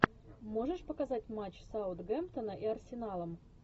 можешь показать матч саутгемптона и арсенала